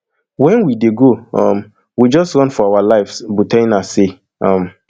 wen we dey go um we just run for our lives buthaina say um